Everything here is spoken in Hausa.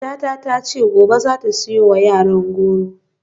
Matata ta ce gobe za ta siyo wa yaran goro.